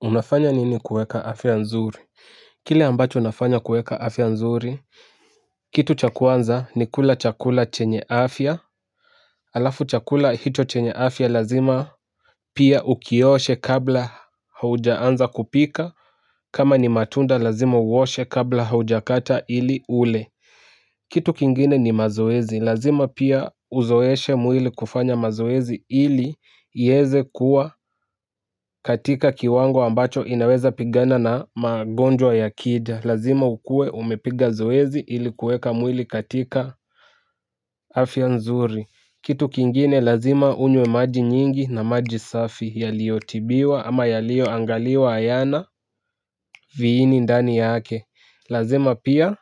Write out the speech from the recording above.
Unafanya nini kueka afya nzuri. Kile ambacho nafanya kueka afya nzuri. Kitu chakuanza ni kula chakula chenye afya alafu chakula hicho chenye afya lazima. Pia ukioshe kabla haujaanza kupika kama ni matunda lazima uoshe kabla hauja kata ili ule. Kitu kingine ni mazoezi, lazima pia uzoeshe mwili kufanya mazoezi ili iyeze kuwa katika kiwango ambacho inaweza pigana na magonjwa ya kida. Lazima ukue umepiga zoezi ili kueka mwili katika afia nzuri. Kitu kingine lazima unywe maji nyingi na maji safi yalio tibiwa ama yalio angaliwa ayana viini ndani yake. Lazima pia